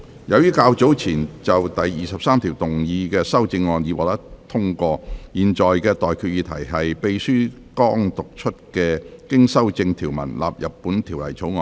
由於較早前就第23條動議的修正案已獲得通過，我現在向各位提出的待決議題是：秘書剛讀出經修正的條文納入本條例草案。